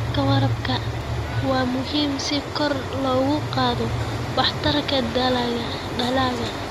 Habka waraabka waa muhiim si kor loogu qaado waxtarka dalagga.